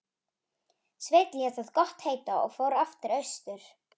Sveinn lét það gott heita og fór aftur austur.